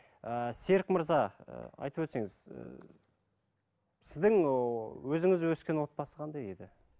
ііі серік мырза ы айтып өтсеңіз і сіздің ыыы өзіңіз өскен отбасы қандай еді